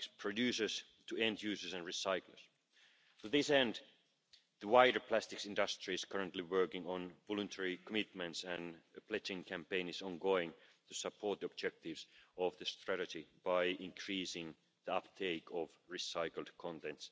been done so far? We published guidelines to promote a more coherent approach to waste classification. We launched a study to develop a specific decision making methodology to support the decision on the recyclability of waste containing substances